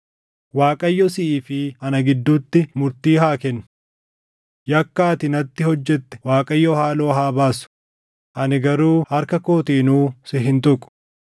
Waaqayyo siʼii fi ana gidduutti murtii haa kennu. Yakka ati natti hojjette Waaqayyo haaloo haa baasu; ani garuu harka kootiinuu si hin tuqu.